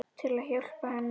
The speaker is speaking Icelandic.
Til að hjálpa henni.